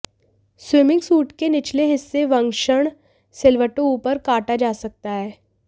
swimming suit के निचले हिस्से वंक्षण सिलवटों ऊपर काटा जा सकता है